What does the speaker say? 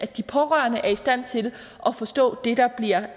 de pårørende er i stand til at forstå det der bliver